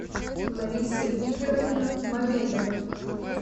лариса викторовна мамедова